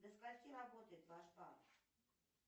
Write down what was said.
до скольки работает ваш банк